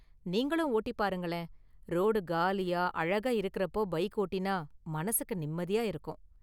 நீங்களும் ஓட்டிப் பாருங்களேன், ரோடு காலியா, அழகா இருக்குறப்போ பைக் ஓட்டினா மனசுக்கு நிம்மதியா இருக்கும்.